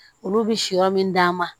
Olu bɛ si yɔrɔ min d'a ma